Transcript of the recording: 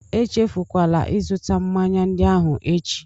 Echefukwala ịzụta mmanya ndị ahụ echi!